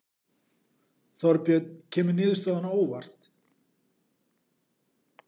Þorbjörn kemur niðurstaðan á óvart?